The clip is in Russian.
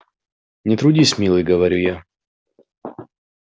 не трудись милый говорю я